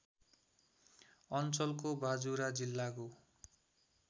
अञ्चलको बाजुरा जिल्लाको